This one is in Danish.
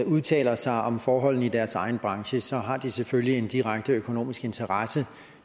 udtaler sig om forholdene i deres egen branche så har de selvfølgelig en direkte økonomisk interesse i